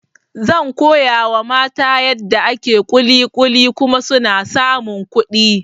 Zan koyawa mata yadda ake kulikuli kuma suna samun kuɗi